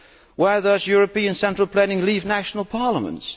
Where does European central planning leave national parliaments?